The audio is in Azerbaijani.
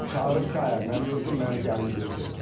Çağırıb ki, ayə mən öldüm, məni gəlin götürün.